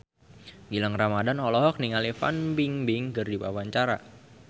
Gilang Ramadan olohok ningali Fan Bingbing keur diwawancara